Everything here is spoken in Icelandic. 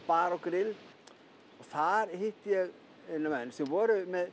bar og grill þar hitti ég menn sem voru með